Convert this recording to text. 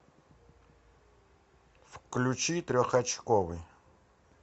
включи трехочковый